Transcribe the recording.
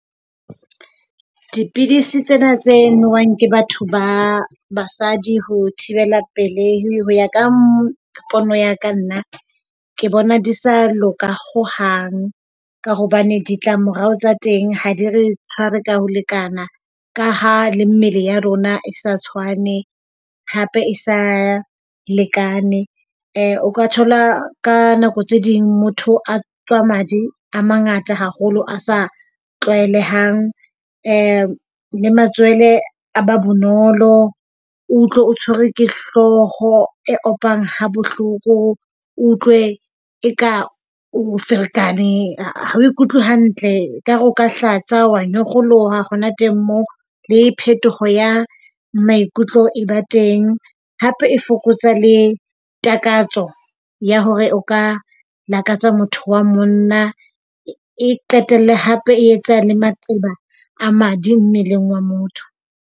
Dipidisi tsena tse nowang ke batho ba basadi ho thibela pelei. Ho ya ka pono ya ka nna ke bona di sa loka hohang ka hobane ditlamorao tsa teng ha di re tshware ka ho lekana ka ha le mmele ya rona e sa tshwane hape e sa lekane. O ka thola ka nako tse ding motho a tswa madi a mangata haholo, a sa tlwaelehang. Uhm, le matswele a ba bonolo. O utlwe o tshwerwe ke hlooho e opang ha bohloko. O utlwe eka o ferekane, ha o ikutlwe hantle ekare o ka hlatsa wa nyokgoloha hona teng mo. Le phetoho ya maikutlo e ba teng. Hape e fokotsa le takatso ya hore o ka lakatsa motho wa monna, e qetelle hape e etsa le maqeba a madi mmeleng wa motho.